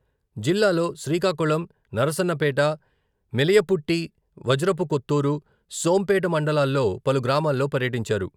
జిల్లాలో శ్రీకాకుళం..నరసన్నపేట, మెలియపుట్టి వజ్రపుకొత్తూరు, సోంపేట మండలాల్లో పలు గ్రామాల్లో పర్యటించారు.